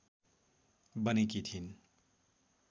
बनेकी थिइन्